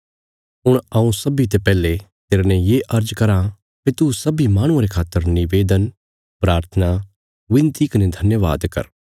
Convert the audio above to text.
हुण हऊँ सब्बीं ते पैहले तेरने ये अर्ज कराँ भई तू सब्बीं माहणुआं रे खातर निवेदन प्राथना विनती कने धन्यवाद कर